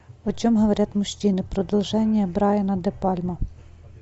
о чем говорят мужчины продолжение брайана де пальма